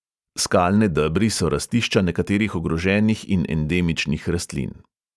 Skalne debri so rastišča nekaterih ogroženih in endemičnih rastlin.